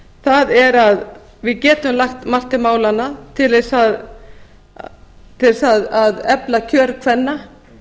það er að við getum lagt margt til málanna til þess að efla kjör kvenna